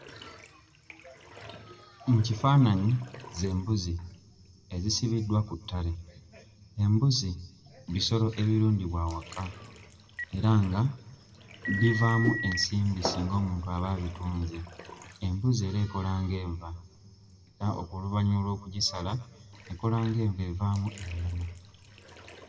Mu kifaananyi z'embuzi ezisibiddwa ku ttale. Embuzi bisolo ebirundibwa awaka era nga bivaamu ensimbi singa omuntu aba abitunze. Embuzi era ekola ng'enva era oluvannyuma lw'okugisala ekola ng'enva, evaamu ennyama.